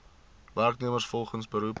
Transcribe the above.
werknemers volgens beroep